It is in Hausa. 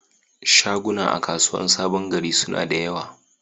Shaguna a kasuwar saɓon gari suna da ƴawa.